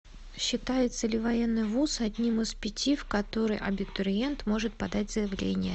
считается ли военный вуз одним из пяти в который абитуриент может подать заявление